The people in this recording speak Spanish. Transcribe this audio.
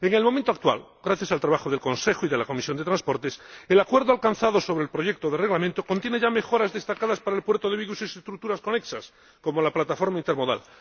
En el momento actual, gracias al trabajo del Consejo y de la Comisión de Transportes, el acuerdo alcanzado sobre el proyecto de Reglamento contiene ya mejoras destacadas para el puerto de Vigo y sus estructuras conexas, como la plataforma intermodal.